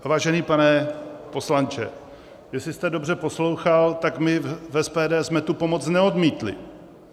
Vážený pane poslanče, jestli jste dobře poslouchal, tak my v SPD jsme tu pomoc neodmítli.